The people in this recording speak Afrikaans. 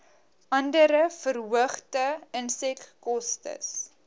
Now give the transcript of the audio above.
andere verhoogde insetkostes